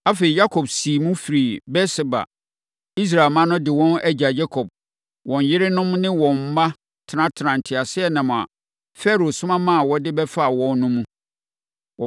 Afei, Yakob siim firii Beer-Seba. Israel mma no de wɔn agya Yakob, wɔn yerenom ne wɔn mma tenatenaa nteaseɛnam a Farao soma maa wɔde bɛfaa wɔn no mu.